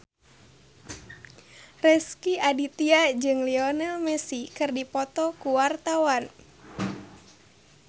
Rezky Aditya jeung Lionel Messi keur dipoto ku wartawan